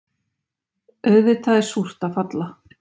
Auðvitað er súrt að falla